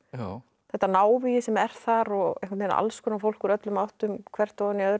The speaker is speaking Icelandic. þetta návígi sem er þar alls konar fólk úr öllum áttum hvert ofan í öðru